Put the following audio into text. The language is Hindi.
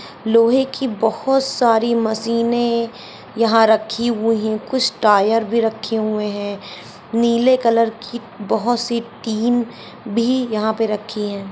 लोहे की बहुत सारी मशीने यहा रखी हुई है कुछ टायर भी रखे हुए है नीले कलर की बहुत सी टीन भी यहां पर रखी है।